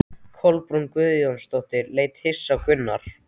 Kolbrún Guðjónsdóttir leit hissa á Gunnar.